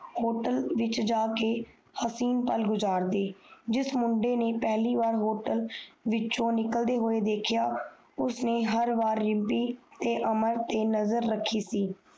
Hotel ਵਿਚ ਜਾਕੇ ਹਸੀਨ ਪਾਲ ਗੁਜਾਰਦੇ ਜਿਸ ਮੁੰਡੇ ਨੇ ਪਹਿਲੀ ਬਾਰ Hotel ਵਿੱਚੋ ਨਿਕਲਦੇ ਦੇਖਿਆ ਉਸਨੇ ਹਰ ਬਾਰ ਰਿਮਪੀ ਤੇ ਨਜ਼ਰ ਰਾਖੀ ਸੀ